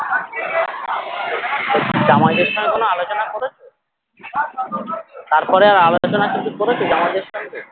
জামাইদের সঙ্গে কোনো আলোচনা করেছো তারপরে আর আলোচনা কিছু করেছো জামাইদের সঙ্গে?